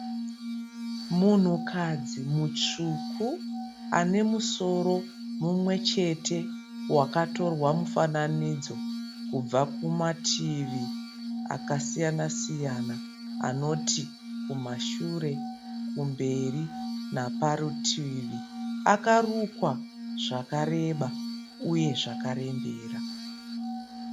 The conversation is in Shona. Munhukadzi mutsvuku ane musoro mumwe chete wakatorwa mufananidzo kubva kumativi akasiyana siyana anoti kumashure, kumberi naparutivi. Akarukwa zvakareba uye zvakarembera.